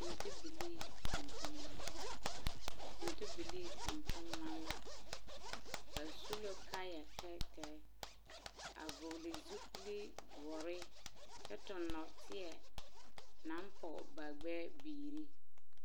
Fintibilii tontonema fintibilii tontonema la ba su la kaaya tɛɛtɛɛ a vɔgle zupili doɔre kyɛ toŋ nɔɔteɛ naŋ pɔge ba gbɛɛbiiri.